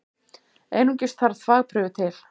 Einungis þarf þvagprufu til.